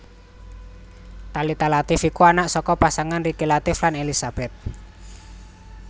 Thalita Latief iku anak saka pasangan Riki Latief lan Elisabeth